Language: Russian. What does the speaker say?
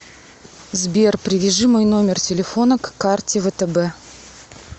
сбер привяжи мой номер телефона к карте втб